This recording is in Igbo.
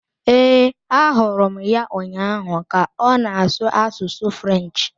Ee, ahụrụ m ya ụnyaahụ ka ọ na-asụ asụsụ French.